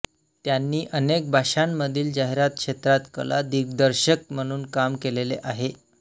त्यांनी अनेक भाषांमधील जाहिरात क्षेत्रात कलादिग्दर्शक म्हणून काम केलेले आहे